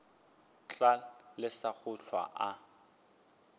tla lesa go hlwa a